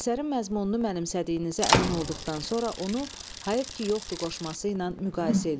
Əsərin məzmununu mənimsədiyinizə əmin olduqdan sonra onu "Hayəv ki yoxdu" qoşması ilə müqayisə eləyin.